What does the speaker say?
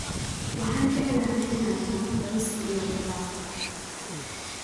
Waxaan jeclahay in aan cuno bariiska iyo khudaarta.